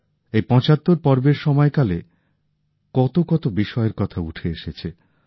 এই ৭৫ পর্বের সময় কালে কত কত বিষয়ের কথা উঠে এসেছে